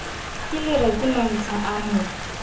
kelereko mantsha o a mo